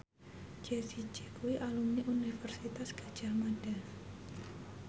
Jessie J kuwi alumni Universitas Gadjah Mada